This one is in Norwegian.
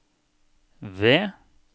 V